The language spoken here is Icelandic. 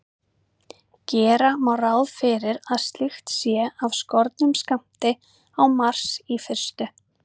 Gera má ráð fyrir að slíkt sé af skornum skammti á Mars í fyrstu.